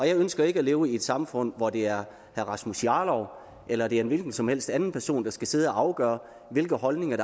jeg ønsker ikke at leve i et samfund hvor det er herre rasmus jarlov eller det er en hvilken som helst anden person der skal sidde at afgøre hvilke holdninger